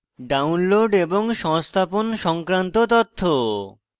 download এবং সংস্থাপন সংক্রান্ত তথ্য: